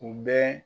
U bɛ